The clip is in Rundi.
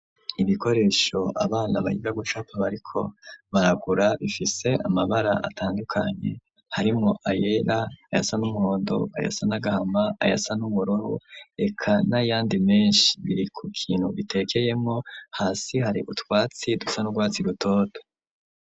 Ibikoresho abana biga gucapa bariko baragura bifise amabara atandukanye harimwo ayera ,ayasa n'umuhondo ,ayasa n'agahama ,ayasa n'ubururu reka nayandi menshi biri ku kintu bitekeyemwo hasi hari utwatsi dusa n'urwatsi rutoto.